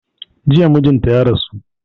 Jiya mijinta ya rasu